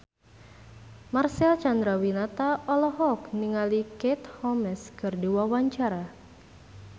Marcel Chandrawinata olohok ningali Katie Holmes keur diwawancara